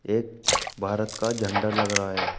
एक भारत का झंडा लग रहा है।